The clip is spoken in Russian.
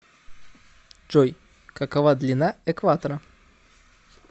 джой какова длина экватора